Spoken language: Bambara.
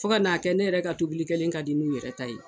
Fo ka n'a kɛ ne yɛrɛ ka tobilikɛlen ka di n'u yɛrɛ ta ye